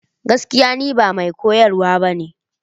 Gaskiya! Ni ba mai koyarwa ba ne.